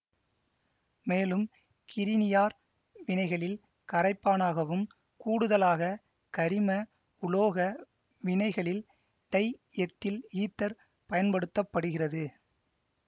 மேலும் கிரினியார் வினைகளில் கரைப்பானாகவும் கூடுதலாக கரிம உலோக வினைகளில் டை எத்தில் ஈதர் பயன்படுத்த படுகிறது